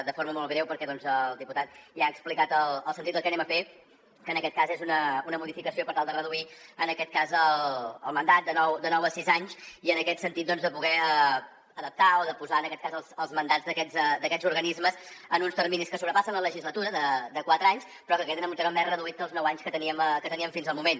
de forma molt breu perquè el diputat ja ha explicat el sentit del que anem a fer que en aquest cas és una modificació per tal de reduir el mandat de nou a sis anys i en aquest sentit de poder adaptar o de posar els mandats d’aquests organismes en uns terminis que sobrepassen la legislatura de quatre anys però que queden en un temps més reduït que els nou anys que teníem fins al moment